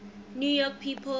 new york people